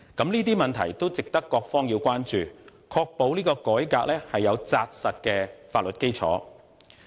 有關問題都值得各方關注，以確保這次改革有扎實的法律基礎。